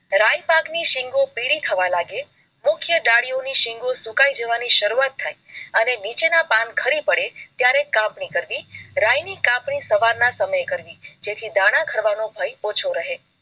રાય પાક ની શીંગો પીળી થવા લાગે, મુખ્ય ડાળીઓ ની શીંગો સુકાઈ જવાની શરૂઆત થાય અને નીચેના પાન ખરી પડે ત્યારે કાપણી કરવી. રાય ની કાપણી સવાર ના સમયે કરવી જેથી દાણા ખરવાનો ભય ઓછો રહે.